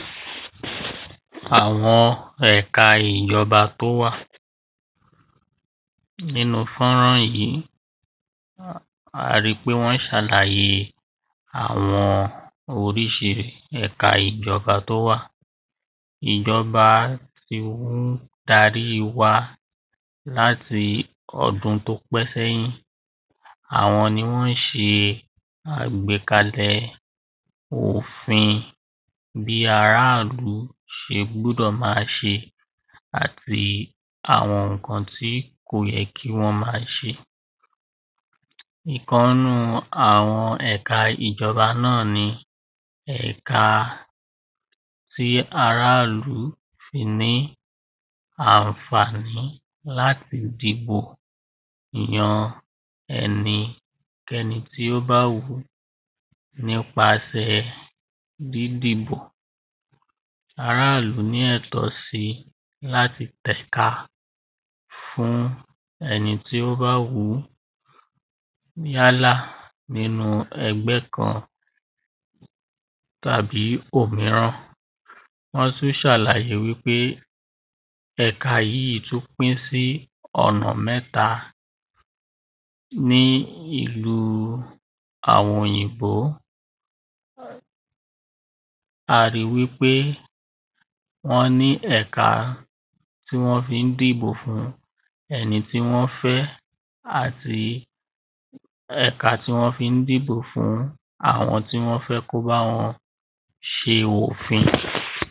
Àwọn ẹ̀ka ìjọba tí ó wà Nínú fọ́nrán yìí a ri pé wọ́n ń ṣàlàyé àwọn oríṣi ẹ̀ka ìjọba tí ó wà Ìjọba ní ó ń darí wa láti ọdún tí ó pẹ́ sẹ́yìn Àwọn ni wọ́n ń ṣe àgbékalẹ̀ òfin bí ará ìlú ṣe gbúdọ̀ máa ṣe àti àwọn nǹkan tí kò yẹ kí wọ́n máa ṣe Ìkan nínú àwọn ẹ̀ka ìjọba náà ni ẹ̀ka ti ará ìlú fi ní àǹfàní láti dìbò yan ẹnikẹ́ni tí ó bá wù ú nípasẹ̀ dídìbò Ará ìlú ní ẹ̀tọ́ si láti tẹ̀ka fuń ẹni tí ó bá wù yálà ní ẹgbẹ́ kan àbí òmíràn Wọ́n tún ṣàlàyé wípé ẹ̀ka yìí tún pín sí ọ̀nà mẹ́ta Ní ìlú àwọn òyìnbó a ri wípé wọ́n ní ẹka tí wọ́n fi ń dìbò fún ẹni tí wọ́n fẹ àti ẹka tí wọn fi ń dìbò fún àwọn tí wọn fẹ́ kí o bá wọn ṣe òfin